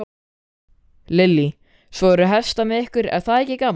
Lillý: Svo eru hestar með ykkur, er það ekki gaman?